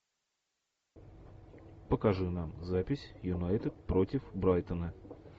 покажи нам запись юнайтед против брайтона